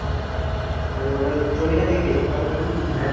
ও ওটা জমিটা দেখবে কেমন কি